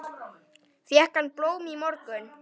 Fékk hann blóm í morgun?